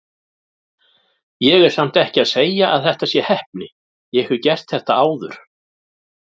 Ég er samt ekki að segja að þetta sé heppni, ég hef gert þetta áður.